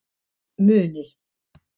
Muni